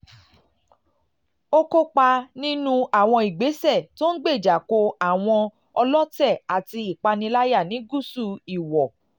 ó kópa nínú àwọn ìgbésẹ̀ tó ń gbéjà kò àwọn ọlọ́tẹ̀ àti ìpániláyà ní gúúsù ìwọ̀